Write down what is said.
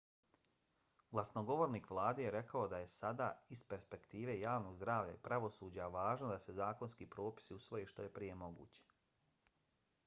glasnogovornik vlade je rekao da je sada iz perspektive javnog zdravlja i pravosuđa važno da se zakonski propisi usvoje što je moguće prije.